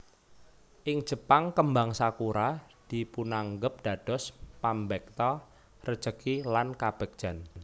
Ing Jepang kembang sakura dipunanggep dados pambekta rejeki lan kabegjan